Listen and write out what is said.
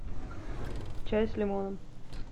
чай с лимоном